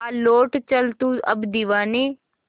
आ लौट चल तू अब दीवाने